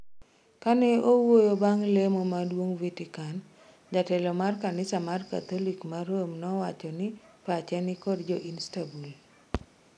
Kane owuoyo bang' lemo maduong' Vetican jatelo mar kanisa mar katholic ma Rome nowacho ni pache ni kod jo Istanbul.